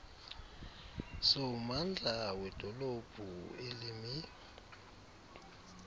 sommandla wedolophu elimi